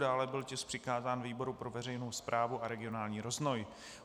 Dále byl tisk přikázán výboru pro veřejnou správu a regionální rozvoj.